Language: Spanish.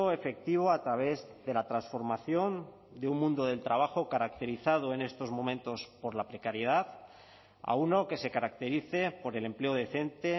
efectivo a través de la transformación de un mundo del trabajo caracterizado en estos momentos por la precariedad a uno que se caracterice por el empleo decente